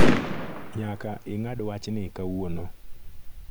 Nyaka ingad wachni kawuono .